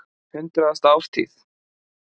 Hundraðasta ártíð.